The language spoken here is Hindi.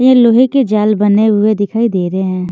ये लोहे के जाल बने हुए दिखाई दे रहे हैं।